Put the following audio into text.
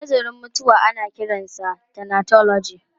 Nazarin mutuwa ana kiransa thanatology.